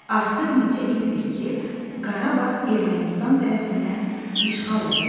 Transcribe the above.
Artıq neçə ildir ki, Qarabağ Ermənistan tərəfindən işğal olunub.